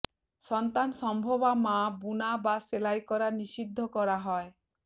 সন্তানসম্ভবা মা বুনা বা সেলাই করা নিষিদ্ধ করা হয়